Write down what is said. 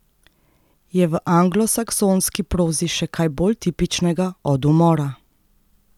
Je v anglosaksonski prozi še kaj bolj tipičnega od umora?